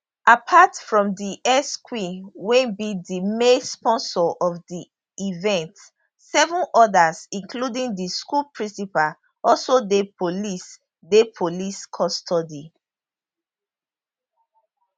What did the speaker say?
apart from di exqueen wey be di main sponsor of di event seven odas including di school principal also dey police dey police custody